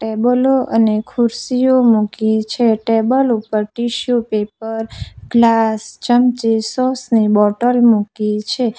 ટેબલો અને ખુરશીઓ મૂકી છે ટેબલ ઉપર ટીશ્યુ પેપર ગ્લાસ ચમચી સોસ ની બોટલ મૂકી છે.